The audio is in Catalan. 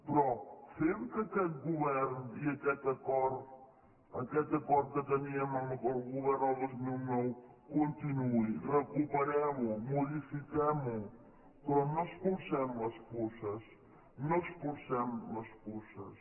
però fem que aquest govern i aquest acord que teníem amb el govern el dos mil nou continuï recuperem ho modifiquem ho però no espolsem les puces no espolsem les puces